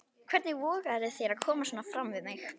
Hvernig vogarðu þér að koma svona fram við mig!